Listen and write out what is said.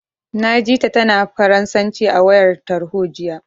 Na ji ta, tana Faransanci a wayar tarho, jiya.